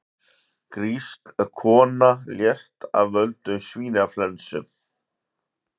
Grísk kona lést af völdum svínaflensu